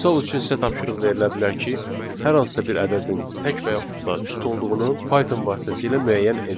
Misal üçün sizə tapşırıq verilə bilər ki, hər hansısa bir ədədin tək və yaxud da cüt olduğunu Python vasitəsilə müəyyən edin.